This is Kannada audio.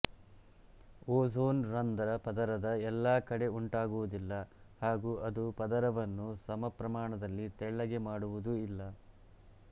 ಓಝೋನ್ ರಂಧ್ರ ಪದರದ ಎಲ್ಲಾ ಕಡೆ ಉಂಟಾಗುವುದಿಲ್ಲ ಹಾಗೂ ಅದು ಪದರವನ್ನು ಸಮಪ್ರಮಾಣದಲ್ಲಿ ತೆಳ್ಳಗೆ ಮಾಡುವುದೂ ಇಲ್ಲ